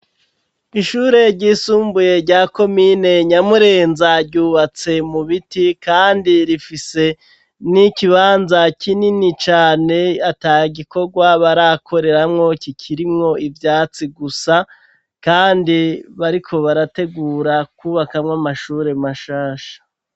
Ishure ryisumbuye rya komine nyamurenza ryubatse mu biti kandi rifise n'ikibanza kinini cane ataye gikorwa barakoreramwo kikirinko ibyatsi gusa kandi bariko barategura kubakamwo amashure mashasha.